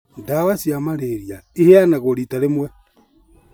Ndawa cia Marĩria iheanagwo rita rĩmwe